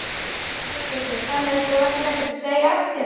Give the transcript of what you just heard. Höskuldur: Þannig að þú ætlar ekkert að segja af þér?